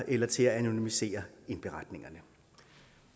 eller til at anonymisere indberetningerne